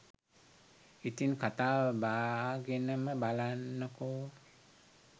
ඉතිං කතාව බාගෙනම බලන්නකෝ.